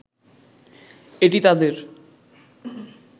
এটি তাদের